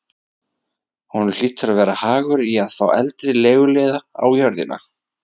Honum hlýtur að vera hagur í að fá eldri leiguliða á jörðina.